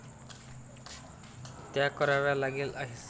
त्या कराव्या लागलेल्या आहेत.